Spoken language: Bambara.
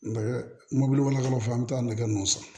Nɛgɛ mobili wɛrɛ fɔ an bɛ taa nɛgɛ ninnu san